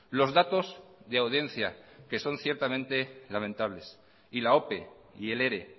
los datos de audiencia que son ciertamente lamentables y la ope y el ere